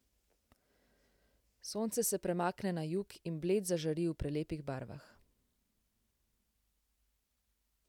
Sonce se premakne na jug in Bled zažari v prelepih barvah.